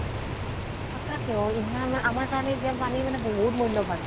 সঁচাকে অ ইমান মানে আমাৰ কাৰণে এতিয়া পানী মানে বহুত মূল্য়বান।